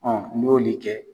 n'i y'olu kɛ